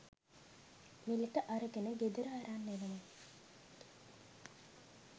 මිලට අරගෙන ගෙදර අරන් එනවා